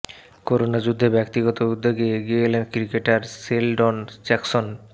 corona যুদ্ধে ব্যক্তিগত উদ্যোগে এগিয়ে এলেন ক্রিকেটার শেলডন জ্যাকসন